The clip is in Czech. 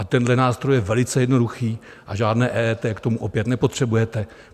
A tenhle nástroj je velice jednoduchý a žádné EET k tomu opět nepotřebujete.